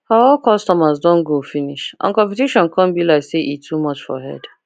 her old customers don go finish and competition come be like say e too much for head